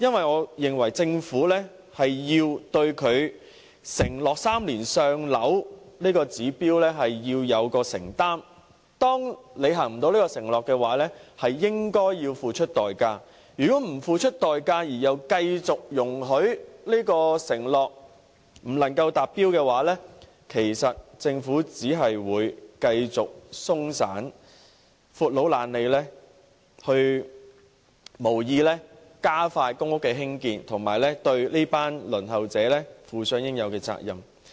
我認為政府要對其 "3 年上樓"的承諾有所承擔，當未能履行承諾時，便應付出代價，如果不付出代價而容許這承諾久久不能實踐，政府便只會繼續鬆懈、"闊佬懶理"，無意加快興建公屋，對這群輪候者負上應有的責任。